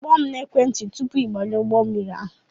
Kpọọ m na-ekwenti tụpụ I banye ụgbọ mmiri ahụ!